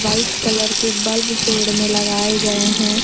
White colour के bulb पेड़ में लगाए गए हैं।